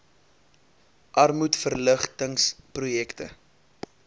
armoedverlig tings projekte